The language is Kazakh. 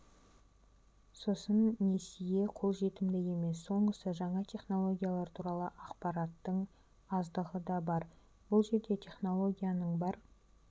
сосын несие қолжетімді емес соңғысы жаңа технологиялар туралы ақпараттың аздығы да бар бұл жерде технологияның бар